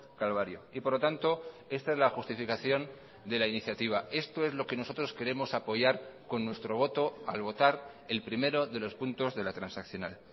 calvario y por lo tanto esta es la justificación de la iniciativa esto es lo que nosotros queremos apoyar con nuestro voto al votar el primero de los puntos de la transaccional